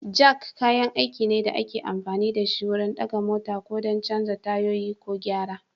Jak kayan aiki ne da ake amfani da shi wurin ɗaga mota ko don canza tayoyi ko gyara.